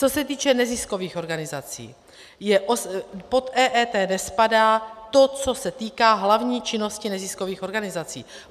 Co se týče neziskových organizací, pod EET nespadá to, co se týká hlavní činnosti neziskových organizací.